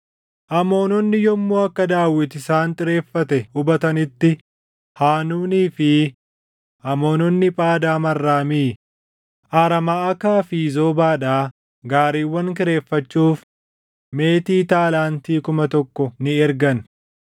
Isaanis gaariiwwan kuma soddomii lamaa fi ooftota gaariiwwanii, akkasumas mootii Maʼakaatii fi loltoota isaa kanneen dhufanii Meedebaa bira qubatan sana kireeffatan; Amoononni immoo magaalaawwan isaaniitii walitti qabamanii waraanatti ni qajeelan.